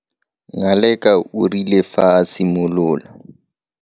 Ngaleka o rile fa a simolola.